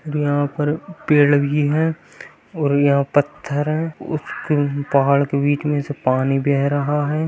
और यहां पर पेड़ भी है और यहां पत्थर है उसके पहाड़ के बीच में से पानी बह रहा है।